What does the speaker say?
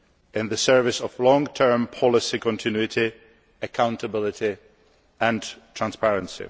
in the service of long term policy continuity, accountability and transparency.